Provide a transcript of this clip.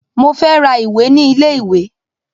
Mo fẹ́ ra ìwé ní ilé ìwé